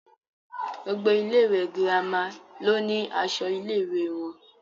Gbogbo ilé ìwé girama ló ni aṣọ ilé ìwé wọn.